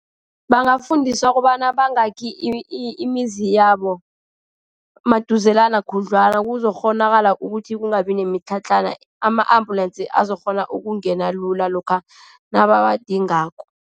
Bangafundiswa kobana bangaki imizi yabo emaduzelana khudlwana, kuzokukghonakala ukuthi kungabi nemitlhatlhana. Ama-ambulensi azokukghona ukungena lula lokha nabawadingako.